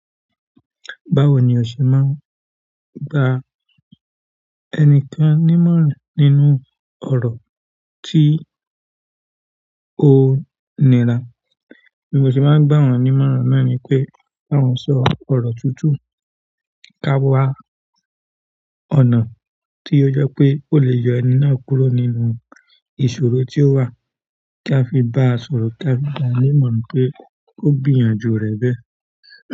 Báwo ni o ṣe máa ń gba ẹnikan nímọ̀ràn nínú ọ̀rọ̀ tí o ńirá? Bí mo ṣe bá ń gbà wọ́n nímọ̀ràn náà ni pé kí wọ́n sọ ọ̀rọ̀ tutu. Ká wá ọ̀nà tí ó je pé ó lè yọ ẹni náà kúrò nínú ìṣòro tí ó wà, kí a fi bá a sọ̀rọ̀, kí a fi bá a nímọ̀ràn pé ó gbìyànjú rẹ̀ bẹ́ẹ̀.